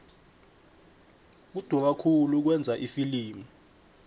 kudura khulu ukwenza ifilimu